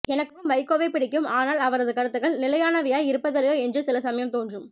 எனக்கும் வைகோவைப் பிடிக்கும் ஆனால் அவரது கருத்துகள் நிலையானவையாயிருப்பதில்லையோ என்று சில சமயம்தோன்றும்